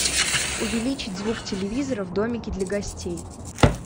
увеличить звук телевизора в домике для гостей